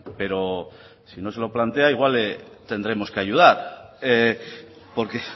pero si no se lo plantea igual le tendremos que ayudar porque